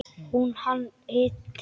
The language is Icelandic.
Hún: Hann hitti.